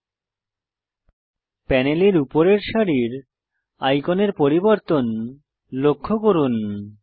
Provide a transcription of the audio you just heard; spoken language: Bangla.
প্রোপার্টিস প্যানেলের উপরের সারির আইকনের পরিবর্তন লক্ষ্য করুন